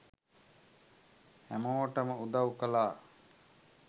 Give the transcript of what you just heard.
හැමෝටම උදව් කළා